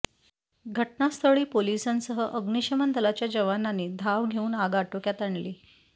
घटनास्थळी पोलिसांसह अग्निशमन दलाच्या जवानांनी धाव घेऊन आग आटोक्यात आणली